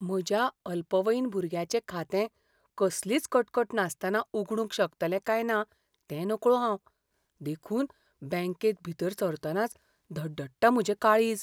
म्हज्या अल्पवयीन भुरग्याचें खातें कसलीच कटकट नासतना उगडूंक शकतलें काय ना तें नकळो हांव. देखून बॅंकेत भितर सरतनाच धडधडटा म्हजें काळीज.